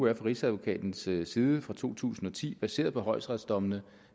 er fra rigsadvokatens side side fra to tusind og ti baseret på højesteretsdommene